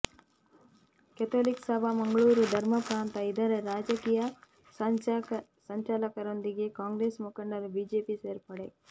Catholic Sabha Mangaluru ಧರ್ಮ ಪ್ರಾಂತ ಇದರ ರಾಜಕೀಯ ಸಂಚಾಲಕರೊಂದಿಗೆ ಕಾಂಗ್ರೇಸ್ ಮುಖಂಡರು ಬಿಜೆಪಿ ಸೇರ್ಪಡೆ